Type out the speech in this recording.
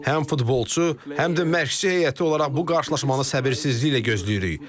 Həm futbolçu, həm də məşqçi heyəti olaraq bu qarşılaşmanı səbirsizliklə gözləyirik.